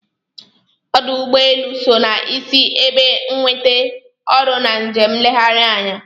Ọ́dụ̀ ụ́gbọelụ́ so na-isi ebe nwete ọrụ na njem nlegharị anya.